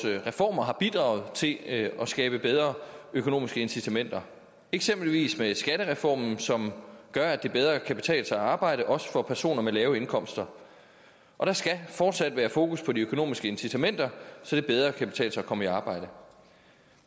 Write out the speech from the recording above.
reformer har bidraget til at skabe bedre økonomiske incitamenter eksempelvis med skattereformen som gør at det bedre kan betale sig at arbejde også for personer med lave indkomster og der skal fortsat være fokus på de økonomiske incitamenter så det bedre kan betale sig at komme i arbejde